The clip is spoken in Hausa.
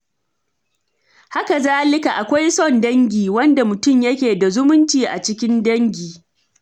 Hakazalika, akwai son dangi, wanda mutum yake da zumunci a cikin dangi.